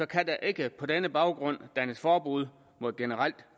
kan der ikke på denne baggrund dannes forbud mod et generelt